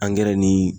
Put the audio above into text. ni